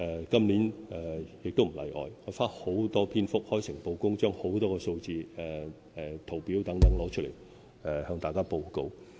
今年亦不例外，我花了大量篇幅，開誠布公地提供很多數字、圖表等，向大家報告。